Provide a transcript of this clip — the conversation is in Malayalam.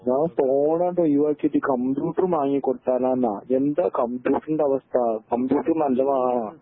ഞാൻ ഫോൺ അങ്ങട്ട് ഒഴിവാക്കിട്ട് കമ്പ്യൂട്ടർ വാങ്ങിക്കൊടുത്താലാന്ന എന്താ കമ്പ്യൂട്ടറിൻ്റെ അവസ്ഥ കമ്പ്യൂട്ടർ നല്ലതാണാ